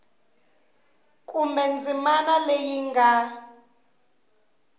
kumbe ndzimana leyi yi nga